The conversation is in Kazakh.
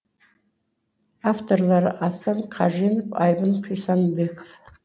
авторлары аслан қаженов айбын құйсанбеков